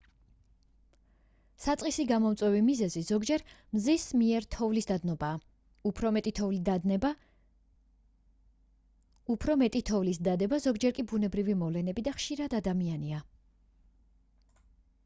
საწყისი გამომწვევი მიზეზი ზოგჯერ მზის მიერ თოვლის დადნობა უფრო მეტი თოვლის დადება ზოგჯერ კი ბუნებრივი მოვლენები და ხშირად ადამიანია